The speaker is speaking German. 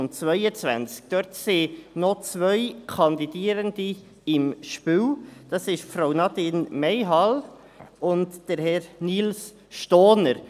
Dort sind noch zwei Kandidierende im Spiel: Frau Nadine Mayhall und Herr Nils Stohner.